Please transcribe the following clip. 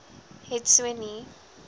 het so nie